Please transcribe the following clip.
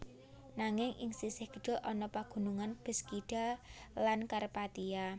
Nanging ing sisih kidul ana pagunungan Beskida lan Karpatia